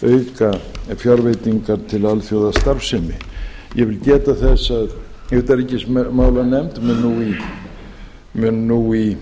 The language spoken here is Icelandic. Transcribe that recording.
að auka fjárveitingar til alþjóðastarfsemi ég vil geta þess að utanríkismálanefnd mun nú í